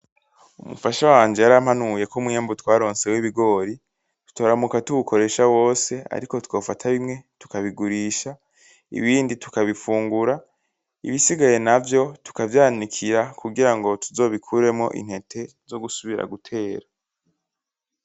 Umufasha wanje yarampanuye ko umwimbu twaronse wibigori tutoramuka tuwukora wose. Ariko twofata bimwe tukabigurisha, ibindi tukabifungura, ibisigaye navyo tukavyanikira kugira ngo tuzobikuremwo intete zo gusubira gutera.